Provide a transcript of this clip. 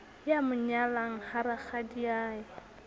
ya mo nyalang ha rakgadiae